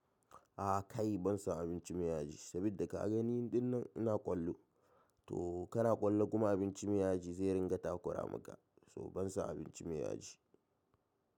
A kai ban so abinci mai yaji saboda ka gan ni dinnan ina kwallo to kana kwallo kuma abinci mai yaji zai ringa takura maka so ban so abinci mai yaji.